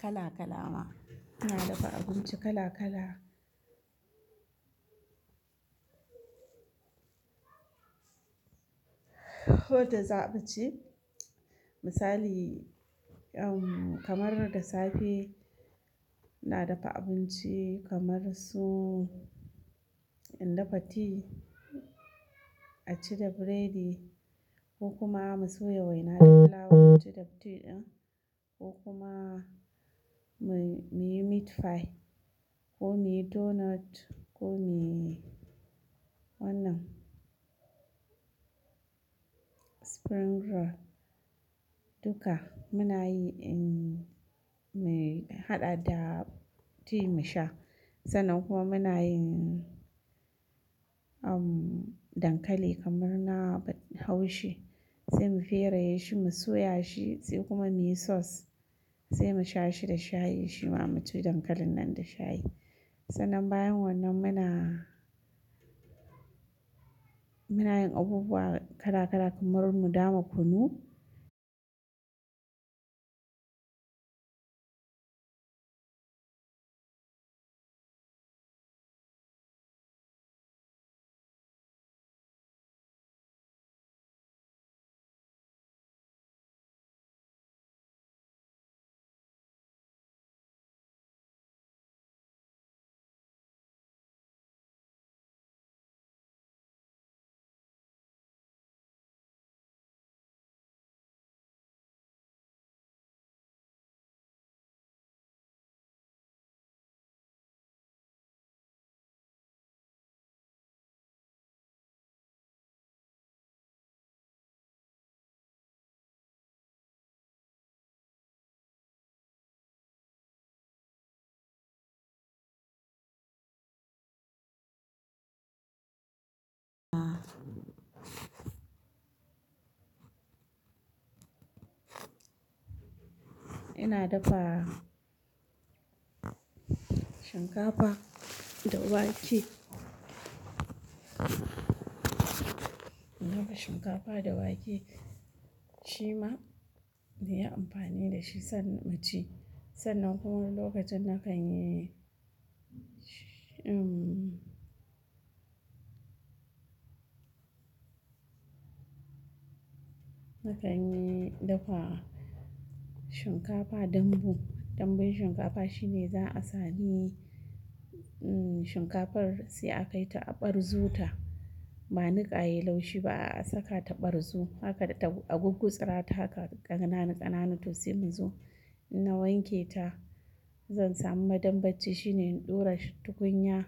Kala kala ma, ina dafa abinci kala kala. Koda zamu ci misali, kamar da safe ina dafa abinci kamar su in dafa ti a ci da biredi ko kuma mu soya wainar flour mu ci da tea ɗin ko kuma muyi meat pie ko muyi donut ko muyi wannan spring roll duka muna yi, mu haɗa da tea mu sha. Sannan kuma muna yin dankali kamar na haushi sai mu feraye shi mu soya shi sai kuma muyi sauce sai mu sha shi da shayi shima mu ci dankalin nan da shayi. Sannan bayan wannan muna, muna yin abubuwa kala kala kamar mu dama kunu. Ina dafa shinkafa da wake. Ina dafa shinkafa da wake shima nayi amfani da shi sannan mu ci. Sannan kuma lokacin na kan yi, na kan yi dafa shinkafa dambu. Dambun shinkafa shine za'a sami shinkafar sai a kaita a ɓarzota ba niƙa yai laushi ba a saka ta ɓarzu haka a guggutsirata haka ƙananu ƙananu to sai muzo inna wanke ta zan samu. Madambaci shine in ɗura tukunya